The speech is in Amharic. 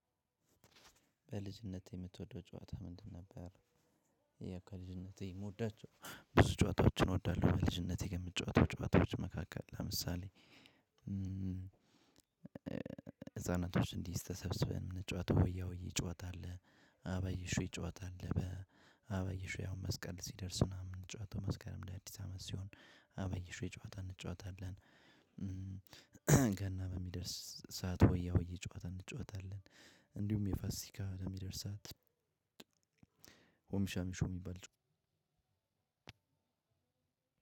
በልጅነትህ የምትወደው ጨወታ ምንድን ነበር? ያው ከልጅነቴ የምወዳቸው ብዙ ጨወታዎችን እወዳለው በልጅነቴ ከምጫወታቸው ጨወታዎች ለምሳሌ፦ ህፃናቶች እንዲህ ተሰብስበን የምንጫወተው ሆያ ሆዬ ጨዋታ አለ፣ አበባ አየሁሽ ጨዋታ አለ አበባ አየሁሽ ያው መስቀል ሲደርሱ ነው ምንጫወተው መስቀልም ለአዲስ አመት ሲሆን አበባ አየሁሽ ጨዋታ እንጨዋታለን። ገና በሚደርስ ሰዓት ሆያ ሆዬ ጨዋታ እንጫወታለን። እንዲሁም የፋሲካ ለሚደርስ ሰዓት ሆም ሚሻ ሚሾ የሚባል ጨዋታ